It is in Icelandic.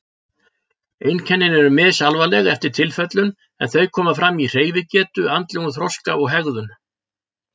Einkennin eru misalvarleg eftir tilfellum en þau koma fram í hreyfigetu, andlegum þroska og hegðun.